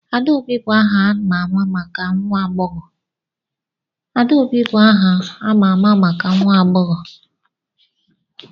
Adaobi bụ aha a ma ama maka nwa agbọghọ.